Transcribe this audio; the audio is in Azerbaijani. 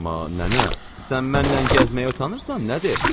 Amma nənə, sən mənlə gəzməyə utanırsan nədir?